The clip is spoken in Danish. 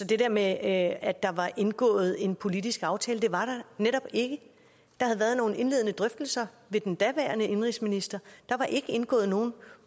det der med at at der var indgået en politisk aftale det var der netop ikke der havde været nogle indledende drøftelser ved den daværende indenrigsminister der var ikke indgået nogen